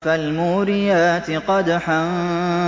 فَالْمُورِيَاتِ قَدْحًا